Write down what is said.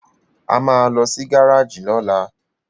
a má ló sì Gáréèjì lola